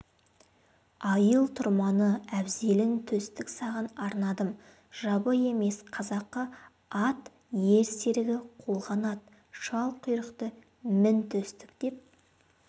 айыл-тұрманы әбзелін төстік саған арнадым жабы емес қазақы ат ер серігі қолғанат шалқұйрықты мін төстік деп